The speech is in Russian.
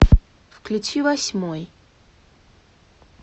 включи восьмой